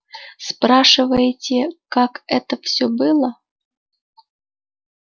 спрашиваете как это все было